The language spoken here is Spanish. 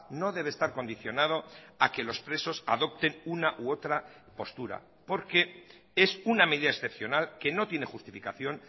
no debe estar condicionado a que los presos adopten una u otra postura porque es una medida excepcional que no tiene justificación